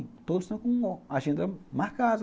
Todos estão com a agenda marcada.